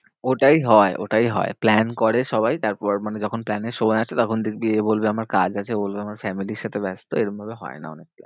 ওটাই হয় ওটাই হয়। plan করে সবাই তারপর মানে যখন plan এর সময় আসে তখন দেখবি এ বলবে আমার কাজ আছে ও বলবে আমি family র সাথে ব্যস্ত। এরম ভাবে হয় না